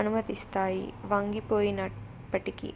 అనుమతిస్తాయి వంగిపోయినప్పటికీ